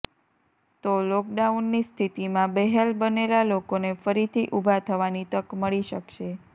તો લોકડાઉનની સ્થિતિમાં બેહાલ બનેલા લોકોને ફરીથી ઊભા થવાની તક મળી શકશે